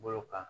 Bolo kan